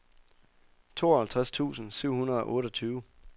tooghalvtreds tusind syv hundrede og otteogtyve